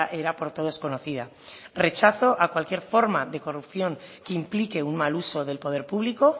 era por todos conocida rechazo a cualquier forma de corrupción que implique un mal uso del poder público